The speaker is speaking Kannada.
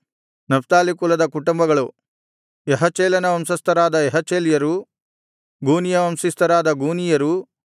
ನಫ್ತಾಲಿ ಕುಲದ ಕುಟುಂಬಗಳು ಯಹಚೇಲನ ವಂಶಸ್ಥರಾದ ಯಹಚೇಲ್ಯರು ಗೂನೀಯ ವಂಶಸ್ಥರಾದ ಗೂನೀಯರು